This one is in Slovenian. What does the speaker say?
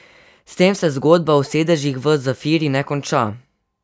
S tem se zgodba o sedežih v Zafiri ne konča.